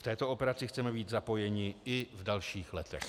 V této operaci chceme být zapojeni i v dalších letech.